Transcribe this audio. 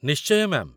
ନିଶ୍ଚୟ, ମ୍ୟା'ମ୍